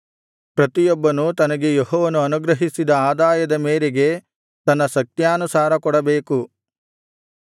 ಪ್ರತಿಯೊಬ್ಬನು ತನಗೆ ಯೆಹೋವನು ಅನುಗ್ರಹಿಸಿದ ಆದಾಯದ ಮೇರೆಗೆ ತನ್ನ ಶಕ್ತ್ಯಾನುಸಾರ ಕೊಡಬೇಕು